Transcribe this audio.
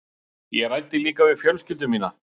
Ég ræddi líka við fjölskyldu mína.